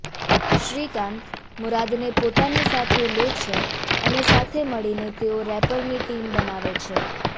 શ્રીકાંત મુરાદને પોતાની સાથે લે છે અને સાથે મળીને તેઓ રેપરની ટીમ બનાવે છે